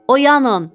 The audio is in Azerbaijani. Oyanın!